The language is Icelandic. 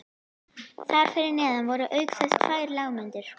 Þar fyrir neðan voru auk þess tvær lágmyndir